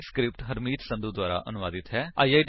ਇਹ ਸਕਰਿਪਟ ਹਰਮੀਤ ਸੰਧੂ ਦੁਆਰਾ ਅਨੁਵਾਦਿਤ ਹੈ